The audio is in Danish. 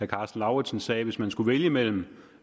karsten lauritzen sagde at hvis man skulle vælge mellem